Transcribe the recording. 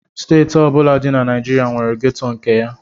Steeti ọ bụla dị na Naịjirịa nwere gétò nke ya